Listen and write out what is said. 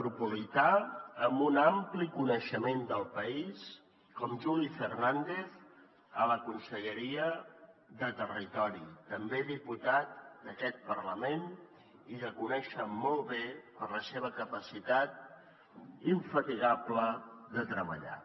tropolità amb un ampli coneixement del país com juli fernàndez a la conselleria de territori també diputat d’aquest parlament i que coneixen molt bé per la seva capacitat infatigable de treballar